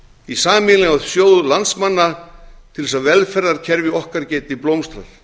í sameiginlegan sjóð landsmanna til þess að velferðarkerfi okkar geti blómstrað